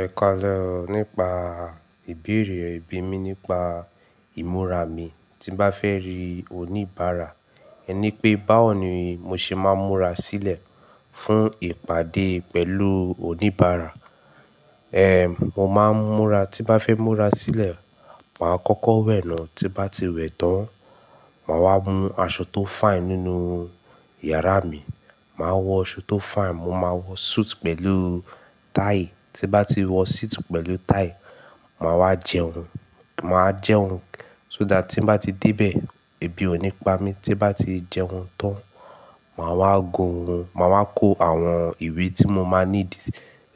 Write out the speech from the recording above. Ẹ kàalẹ o nípa ìbéèrè, e bi mi nípa ìmúra mi tí bá fẹ́ rí oníbàárà. Ẹ ní pé báwo ni mo ṣe máa ń múra sílẹ̀ fún ìpàdé pẹ̀lú oníbàárà. Mo máa ń múra tí bá fẹ́ múra sílẹ̀, màá kọ́kọ́ wẹ̀ náà, tí bá ti wẹ̀ tán, màá wá mú aṣọ tó fine nínú yàrá mi. Màá wọ aṣọ tó fine, mo máa wọ suit pẹ̀lú tie. Tí n bá ti wọ suit pẹ̀lú tie, màá wá jẹun. Màá jẹun so dá tí bá ti dé bẹ̀, èbí ònípa mi tí bá ti jẹun tán, màá wá ko, màá wá kó àwọn ìwé tí mo máa need,